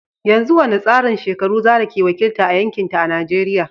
Yanzu wani tsarin shekaru Zarah ke wakilta a yankinta a Najeriya?